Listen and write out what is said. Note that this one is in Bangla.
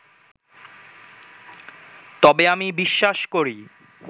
তবে আমি বিশ্বাস করি